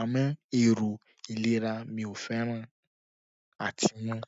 Àmọ́ èrò ìlera mi ò fẹ́ràn àti mu-ún.